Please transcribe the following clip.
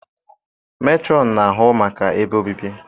Metrọn na-ahụ maka ebe obibi